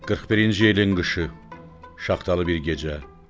41-ci ilin qışı, şaxtalı bir gecə.